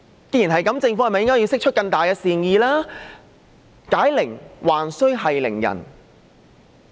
正如我在發言開始時所說，解鈴還須繫鈴人。